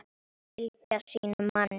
Fylgja sínum manni.